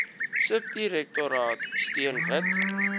subdirektoraat steun wit